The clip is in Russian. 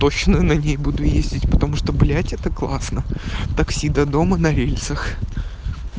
точно на ней буду ездить потому что блять это классно такси до дома на рельсах